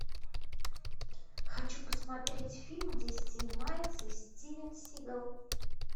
хочу посмотреть фильм где снимается стивен сигал